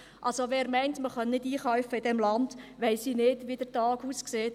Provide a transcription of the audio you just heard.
Wer meint, man könne in diesem Land nicht einkaufen, bei dem weiss ich nicht, wie der Tag aussieht.